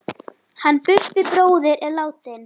Hann Bubbi bróðir er látinn.